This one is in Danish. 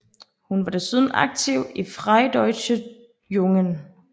Hun var desuden aktiv i Freie Deutsche Jugend